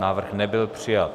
Návrh nebyl přijat.